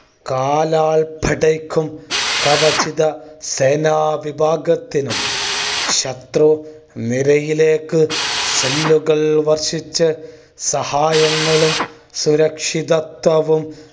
കാലാൽ പടയ്ക്കും കവചിത സേനാ വിഭാഗത്തിനും ശത്രു നിരയിലേക്ക് cell ഉകൾ വർഷിച്ച സഹായങ്ങളും സുരക്ഷിതത്വവും